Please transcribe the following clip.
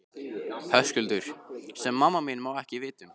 Höskuldur: Sem mamma má ekki vita um?